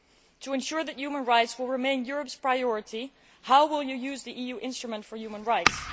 To ensure that human rights will remain Europe's priority, how will you use the EU instrument for human rights?